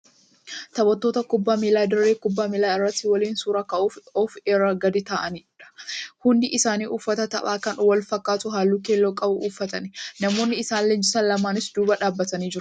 Taphattoota kubbaa miilaa dirree kubbaa miilaa irratti waliin suuraa ka'uuf of irra gadi taa'anidha. Hundi isaanii uffata taphaa kan walfakkaatu halluu keelloo qabu uffatani. Namoonni isaan leenjisan lamas duuba dhaabbatanii jiru